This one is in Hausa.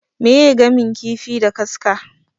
Meye gamin kifi da kaska?